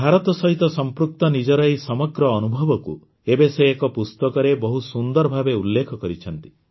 ଭାରତ ସହିତ ସଂପୃକ୍ତ ନିଜର ଏହି ସମଗ୍ର ଅନୁଭବକୁ ଏବେ ସେ ଏକ ପୁସ୍ତକରେ ବହୁତ ସୁନ୍ଦର ଭାବେ ଉଲ୍ଲେଖ କରିଛନ୍ତି